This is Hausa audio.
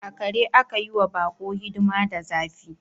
Akare aka yi wa bako hidima da zafi.